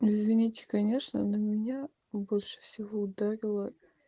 извините конечно но меня больше всего ударило